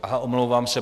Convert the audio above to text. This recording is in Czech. Aha, omlouvám se.